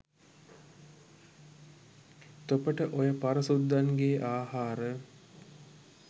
තොපට ඔය පර සුද්දන්ගේ ආහාර